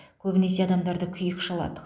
көбінесе адамдарды күйік шалады